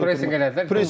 Pressing elətdilər.